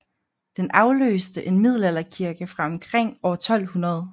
Den afløste en middelalderkirke fra omkring år 1200